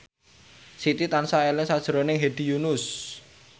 Siti tansah eling sakjroning Hedi Yunus